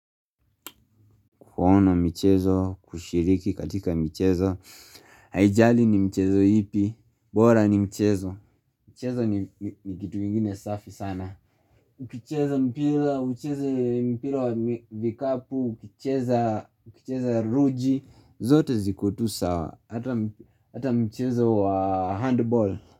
Kuona michezo, kushiriki katika michezo, haijali ni michezo ipi, bora ni mchezo. Mchezo ni kitu ingine safi sana. Ukicheza mpira, ukicheza mpira wa vikapu, ukicheza ruji, zote ziko tu sawa, ata mchezo wa handball.